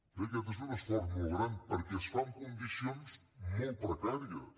bé aquest és un esforç molt gran perquè es fa en condicions molt precàries